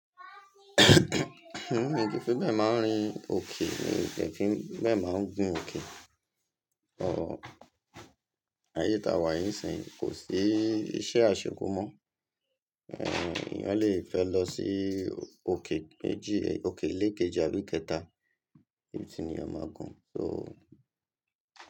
Mí ní kí fún bẹ́ẹ̀ máa ń rìn òkè ni kẹ́ fi bẹ́ẹ̀ máa ń gùn òkè. So ayé ta wà yí sìn kò sí iṣẹ́ àṣekúmọ. Ehn, èèyàn le fẹ́ lọ sí òkè méjì, òkè lé kejì àdúkẹ́ta bí ti ni ọmọ gùn so.